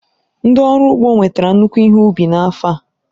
Ndị ọrụ ugbo nwetara nnukwu ihe ubi n'afọ a.